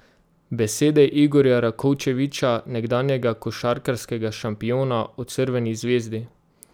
Besede Igorja Rakočevića, nekdanjega košarkarskega šampiona, o Crveni zvezdi.